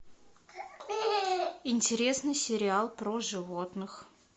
интересный сериал про животных